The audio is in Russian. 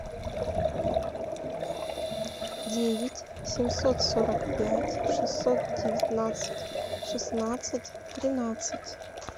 девять семьсот сорок пять шестьсот девятнадцать шестнадцать тринадцать